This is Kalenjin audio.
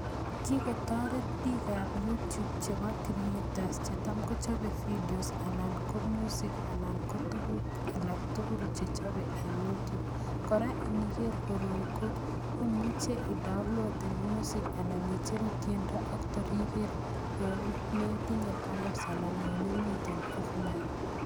Kigotoret piik ab YouTube chepo creators che cham kochape videos anan ko music anan ko tuguk alak tugul che cham kochape eng' YouTube, koraa iniger koroi ko i'muche i'downloaden music anan icheru i'tyendo ak tora iker yo metinye bundles anan yo imiten offline.